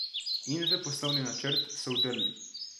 In v poslovni načrt so vdrli.